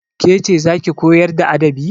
Ke ce za ki koyar da adabi?